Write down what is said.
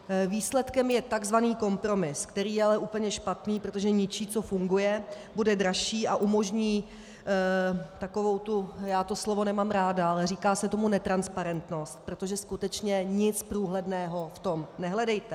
Výsledkem je tzv. kompromis, který je ale úplně špatný, protože ničí, co funguje, bude dražší a umožní takovou tu, já to slovo nemám ráda, ale říká se tomu netransparentnost, protože skutečně nic průhledného v tom nehledejte.